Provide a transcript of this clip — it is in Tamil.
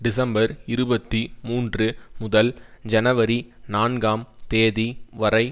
டிசம்பர் இருபத்தி மூன்று முதல் ஜனவரி நான்காம் தேதி வரை